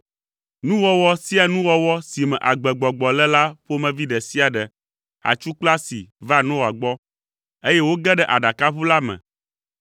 Nuwɔwɔ sia nuwɔwɔ si me agbegbɔgbɔ le la ƒomevi ɖe sia ɖe, atsu kple asi va Noa gbɔ, eye woge ɖe aɖakaʋu la me.